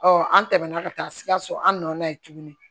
an tɛmɛna ka taa sikaso an na ye tuguni